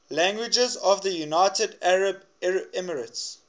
languages of the united arab emirates